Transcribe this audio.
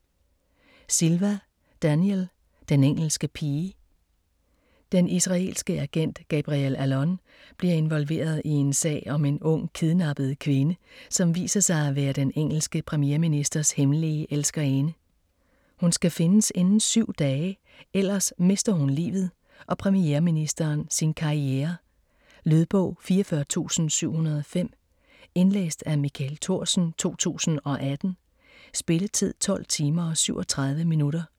Silva, Daniel: Den engelske pige Den israelske agent Gabriel Allon bliver involveret i en sag om en ung kidnappet kvinde, som viser sig at være den engelske premierministers hemmelige elskerinde. Hun skal findes inden syv dage, ellers mister hun livet og premierministeren sin karriere. Lydbog 44705 Indlæst af Michael Thorsen, 2018. Spilletid: 12 timer, 37 minutter.